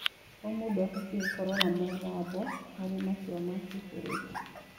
O mũndũ abatiĩ gũkorwo na mũgambo harĩ matua ma kĩbũrũri.